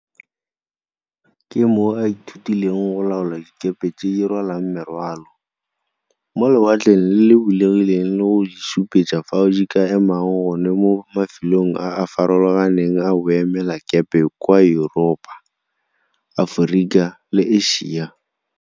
Ke moo a ithutileng go laola dikepe tse di rwalang merwalo, mo lewatleng le le bulegileng le go di supetsa fao di ka emang gone mo mafelong a a farologaneng a boemelakepe kwa Yuropa, Aforika le Asia.